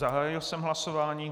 Zahájil jsem hlasování.